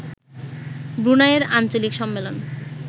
ব্রুনাইয়ের আঞ্চলিক সম্মেলন